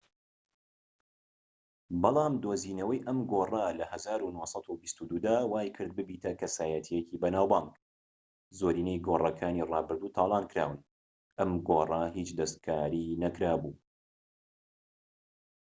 بەلام دۆزینەوەی ئەم گۆڕە لە ١٩٢٢ دا وای کرد ببیتە کەسایەتیەکی بەناوبانگ. زۆرینەی گۆڕەکانی ڕابردوو تالان کراون، ئەم گۆڕە هیچ دەستکاری نەکرابوو